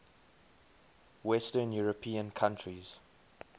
western european countries